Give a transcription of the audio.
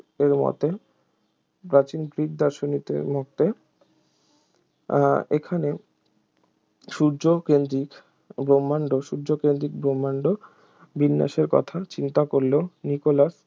এর মতে প্রাচীন গ্রিক দার্শনিকের মতে আহ এখানে সূর্যকেন্দ্রিক ব্রহ্মাণ্ড সূর্যকেন্দ্রিক ব্রহ্মাণ্ড বিন্যাসের কথা চিন্তা করলেও নিকোলাস